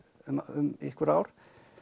um einhver ár